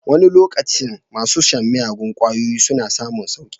Wani lokacin masu shan miyagun kwayoyi suna samun sauki.